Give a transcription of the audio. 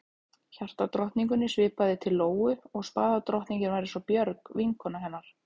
Hjartadrottningunni svipaði til Lóu og spaðadrottningin var eins og Björg, vinkona hennar.